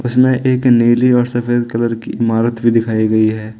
इसमे एक नीली और सफेद कलर की इमारत भी दिखाई गई है।